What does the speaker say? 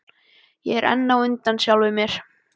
Ég er enn á undan sjálfum mér.